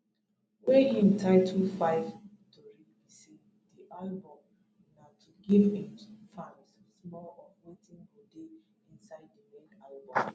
wey im title 5ive tori be say di album na to give im fans small of wetin go dey inside di main album